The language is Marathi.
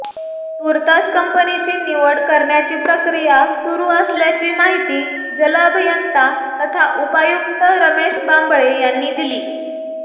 तूर्तास कंपनीची निवड करण्याची प्रक्रिया सुरू असल्याची माहिती जलअभियंता तथा उपायुक्त रमेश बांबळे यांनी दिली